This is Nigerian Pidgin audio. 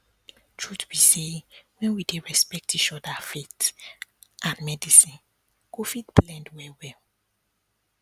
truth be say when we dey respect each other faith and medicine go fit blend well well